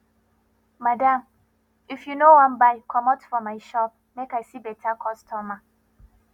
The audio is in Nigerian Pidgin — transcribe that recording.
madam if you no wan buy commot for my shop make i see better customer